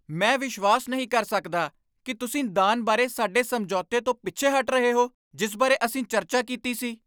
ਮੈਂ ਵਿਸ਼ਵਾਸ ਨਹੀਂ ਕਰ ਸਕਦਾ ਕਿ ਤੁਸੀਂ ਦਾਨ ਬਾਰੇ ਸਾਡੇ ਸਮਝੌਤੇ ਤੋਂ ਪਿੱਛੇ ਹਟ ਰਹੇ ਹੋ ਜਿਸ ਬਾਰੇ ਅਸੀਂ ਚਰਚਾ ਕੀਤੀ ਸੀ।